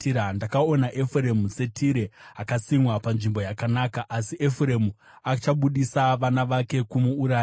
Ndakaona Efuremu, seTire, akasimwa panzvimbo yakanaka. Asi Efuremu achabudisa vana vake kumuurayi.”